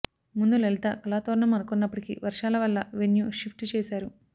ముందు లలిత కళాతోరణం అనుకున్నప్పటికీ వర్షాల వల్ల వెన్యూ షిఫ్ట్ చేశారు